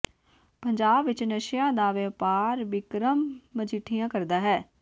ਪੰਜਾਬ ਵਿਚ ਨਸ਼ਿਆਂ ਦਾ ਵਿਓਪਾਰ ਬਿਕਰਮ ਮਜੀਠੀਆ ਕਰਦਾ ਹੈ